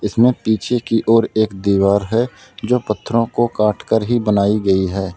इसमें पीछे की ओर एक दीवार है जो पत्थरों को काट कर ही बनाई गई है।